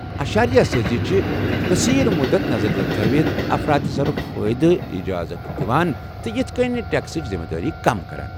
اشاریہ سٲزی چھِ قصیر مٗدت نظرِِ تل تھوِتھ افراط زرٗك فٲیدُک اجازت دِوان، تہٕ یِتھہٕ كٕنہِ ٹٮ۪کسٕچ ذمہٕ وٲری کم کران۔